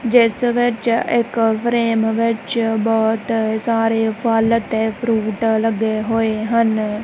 ਜਿਸ ਵਿਚ ਇੱਕ ਫਰੇਮ ਵਿੱਚ ਬਹੁਤ ਸਾਰੇ ਫਲ ਤੇ ਫਰੂਟ ਲੱਗੇ ਹੋਏ ਹਨ।